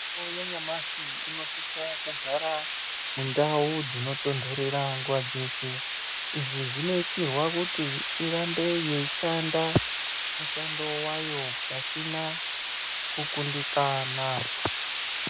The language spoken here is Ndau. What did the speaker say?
Mitombo yanyamashi inosisa kugara mundau dzinotondorera nguva dzeshe, izvi zvinoitirwa kuti irambe yeishanda mushando wayo pasina kukundikana.